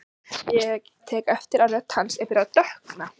Ég tek eftir að rödd hans er byrjuð að dökkna.